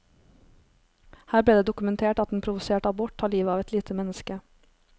Her blir det dokumentert at en provosert abort tar livet av et lite menneske.